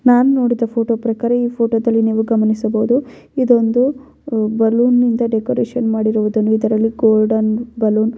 ನಾನು ನೋಡಿದ ಫೋಟೋ ಪ್ರಕಾರ ಈ ಫೋಟೋದಲ್ಲಿ ನೀವು ಗಮನಿಸಬಹುದು ಇದೊಂದು ಬಲೂನ್ನಿಂದ ಡೆಕೋರೇಷನ್ ಮಾಡಿರುವುದನ್ನು ಇದರಲ್ಲಿ ಗೋಲ್ಡನ್ ಬಲೂನ್ --